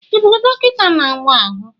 Ị bụ dọkịta n'awa ahụ?